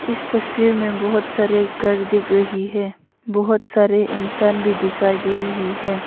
इस तस्वीर में बहुत सारे घर दिख रही है बहुत सारे इंसान भी दिखाई दे रही है।